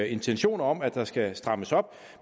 intentioner om at der skal strammes op